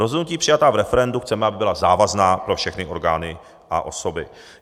Rozhodnutí přijatá v referendu chceme, aby byla závazná pro všechny orgány a osoby.